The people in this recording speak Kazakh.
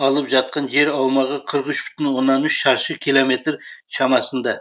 алып жатқан жер аумағы қырық үш мың оннан үш шаршы километр шамасында